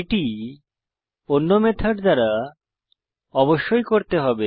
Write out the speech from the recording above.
এটি অন্য মেথড দ্বারা অবশ্যই করতে হবে